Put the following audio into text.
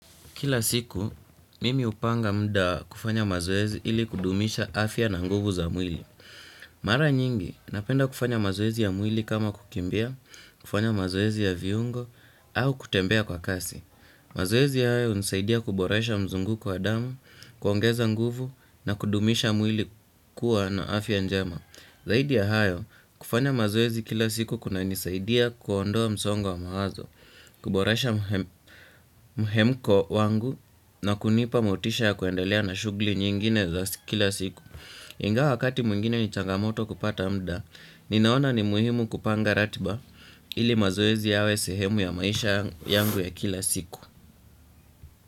Kila siku, mimi hupanga muda kufanya mazoezi ili kudumisha afya na nguvu za mwili. Mara nyingi, napenda kufanya mazoezi ya mwili kama kukimbia, kufanya mazoezi ya viungo, au kutembea kwa kasi. Mazoezi hayo hunisaidia kuboresha mzunguko wa damu, kuongeza nguvu na kudumisha mwili kuwa na afya njema. Zaidi ya hayo, kufanya mazoezi kila siku kuna nisaidia kuondoa msongo wa mawazo, kuborasha muhemko wangu na kunipa motisha ya kuendelea na shughuli nyingine za kila siku. Ingawa wakati mwingine ni changamoto kupata muda, ninaona ni muhimu kupanga ratiba ili mazoezi yawe sehemu ya maisha yangu ya kila siku.